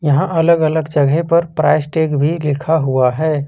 यहां अलग अलग जगह पर प्राइस टैग भी लिखा हुआ है।